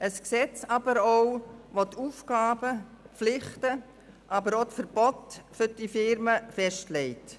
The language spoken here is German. Es ist aber auch ein Gesetz, das die Aufgaben, Pflichten und Verbote für diese Firmen festlegt.